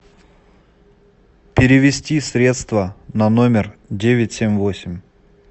перевести средства на номер девять семь восемь